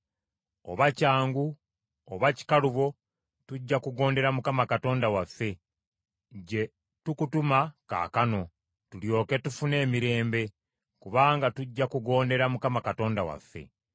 Oba kyangu oba kikalubo tujja kugondera Mukama Katonda waffe, gye tukutuma kaakano, tulyoke tufune emirembe, kubanga tujja kugondera Mukama Katonda waffe.”